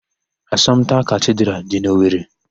Asọmpta Katidralụ dị n'Owere.